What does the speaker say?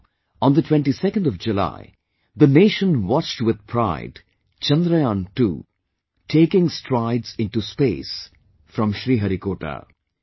And now, on the 22nd of July, the nation watched with pride Chandrayaan II taking strides into space from Sriharikota